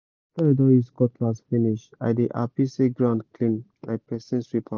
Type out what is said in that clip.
after i don use cutlass finish i dey happy say ground clean like person sweep am